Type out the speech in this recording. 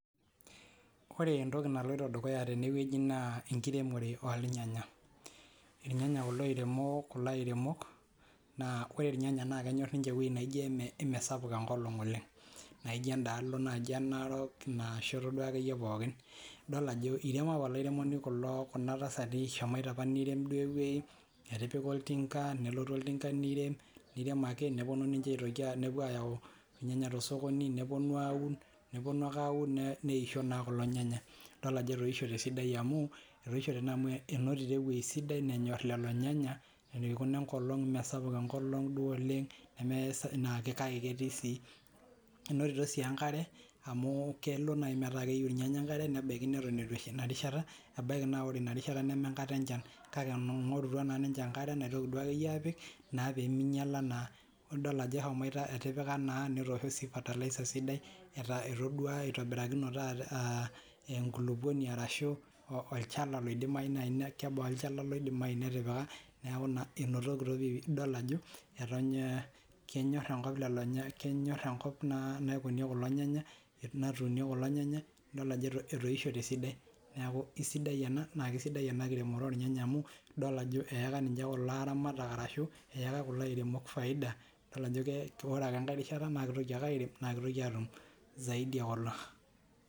Ore entoki naloito dukuya tenewueji naa enkiremore oolnyanya. Ilnyanya kulo oiremo kulo airemok mesapuk enkolong oleng'. Naijo endaalo naji e Narok, inashoto duo akeyie pookin. Idol ajo iremo apa olairemoni kulo kuna tasati eshomoito apa nirem duo ewueji, etipika oltinka nelotu oltinka nirem neponu ninche aitoki apu aayau inyanya tosokoni, neponu aun, neponu neisho naa kulo nyanya. Idol ajo etoishote esidai amu etoishote naa amu enotito ewueji sidai nenyorr lelo nyanya eikuna enkolong mesapuk enkolong duo oleng' naa ketii sii. Enotito si enkare amu kelo naaji metaa keyieu ilnyanya enkare nebaiki neton eitu esha ina rishata, ebaiki naa ore ina rishata neme enkata enchan. Kake eingorutua naa ninche enkare, naitoki duo akeyie apik naa pee minyala naa, neeku idol ajo eshomoito, etipika naa netoosho sii Fertilizer sidai. Etodua, itobirakinote AA enkulukuoni arashu olchala loidimayu naaji kebaa olchala loidimayu netipika neeku naa enotikito idol ajo kenyorr enkop lelo nyanya naikunie kulo nyanya, natuunie kulo nyanya idol ajo etoishote esidai. Neeku isidai ena, naa kisidai ena kiremore oornyanya amu idol ajo eyaka ninche kulo aramatak, arashu kulo airemok faida idol ajo ore ake enkae rishata naa kitoki ake airem naa kitoki ake aatum zaidi ekulo.